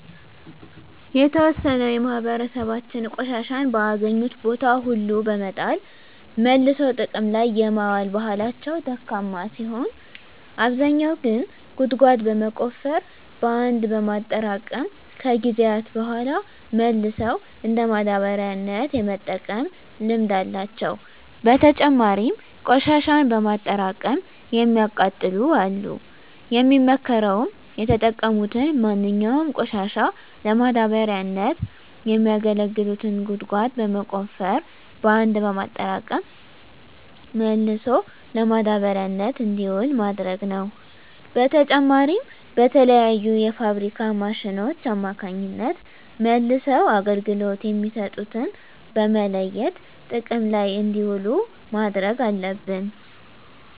የተዎሰነው የማህበራሰባችን ቆሻሻን በአገኙት ቦታ ሁሉ በመጣል መልሶ ጥቅም ላይ የማዋል ባህላቸው ደካማ ሲሆን አብዛኛው ግን ጉድጓድ በመቆፈር በአንድ በማጠራቀም ከጊዜያት በሗላ መልሰው እንደ ማዳበሪያነት የመጠቀም ልምድ አላቸው። በተጨማሪም ቆሽሻን በማጠራቀም የሚያቃጥሉ አሉ። የሚመከረውም የተጠቀሙትን ማንኛውንም ቆሻሻ ለማዳበሪያነት የሚያገለግሉትን ጉድጓድ በመቆፈር በአንድ በማጠራቀም መልሶ ለማዳበሪያነት እንዲውል ማድረግ ነው። በተጨማሪም በተለያዩ የፋብሪካ ማሽኖች አማካኝነት መልሰው አገልግሎት የሚሰጡትን በመለየት ጥቅም ላይ እንዲውሉ ማድረግ አለብን።